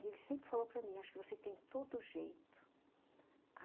E ele sempre falou para mim, acho que você tem todo o jeito.